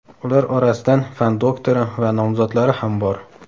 Ular orasidan fan doktori va nomzodlari ham bor.